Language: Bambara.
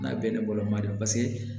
N'a bɛɛ ni bɔlɔma de don paseke